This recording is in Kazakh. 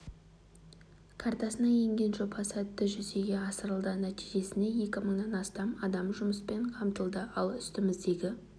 картасына енген жоба сәтті жүзеге асырылды нәтижесінде екі мыңнан астам адам жұмыспен қамтылды ал үстіміздегі